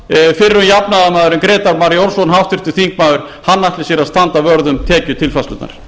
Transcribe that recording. fyrrum jafnaðarmaðurinn háttvirti þingmenn grétar mar jónsson ætli að standa vörð um tekjutilfærslurnar